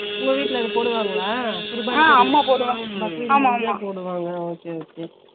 உங்க வீட்டுல அது போடுவாங்களா ? குருபானிக்கு பக்ரித்துக்கு போடுவாங்க ஆஹா okay okay